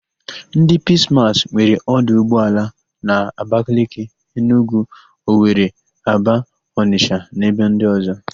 Ndị Piis Maas nwere 'ọdụ ụgbọala na: Abakaliki, Enugwu, Owere, Aba, Ọnịsha na ebe ndị ọ̀zọ́.